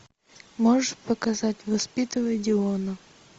можешь показать воспитывая диона